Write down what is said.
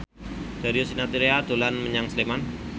Darius Sinathrya dolan menyang Sleman